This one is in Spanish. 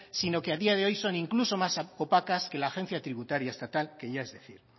sino que a día de hoy son incluso son más opacas que la agencia tributaria estatal que ya es decir